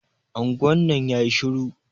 Anguwan nan yayi shiru.